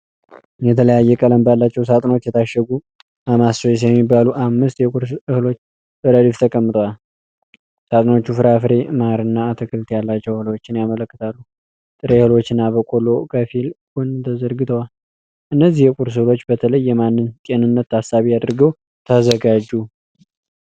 የተለያየ ቀለም ባላቸው ሳጥኖች የታሸጉ 'ማማስ ቾይስ' የሚባሉ አምስት የቁርስ እህሎች በረድፍ ተቀምጠዋል። ሳጥኖቹ ፍራፍሬ፣ ማር፣ እና አትክልት ያላቸው እህሎችን ያመለክታሉ። ጥሬ እህሎች እና በቆሎ ከፊል ጎን ተዘርግተዋል። እነዚህ የቁርስ እህሎች በተለይ የማንን ጤንነት ታሳቢ አድርገው ተዘጋጁ?